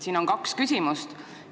Siin on kaks teemat.